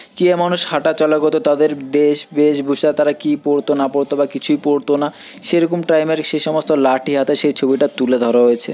কি এ মানুষ হাটাচলাগত তাদের দেশ বেশভূষা তারা কি পরত বা না পরত বা কিছুই পরত না সেরকম টাইম এর সেই সমস্ত লাঠি হাতে সেই ছবিটা তুলে ধরা হয়েছে।